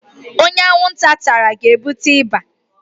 Onye anwunta tara ga-ebute ịba